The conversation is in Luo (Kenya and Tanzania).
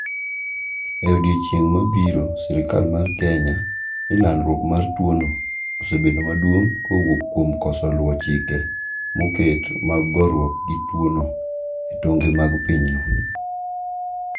e odiechieng ma biro serikal mar Kenya ni landruok mar tuo no osebedo maduong ka owuok kuom koso luo chike ma oket mag gorwuok gi tuo no e tong'e mag pinyno